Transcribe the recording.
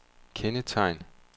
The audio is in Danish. kendetegn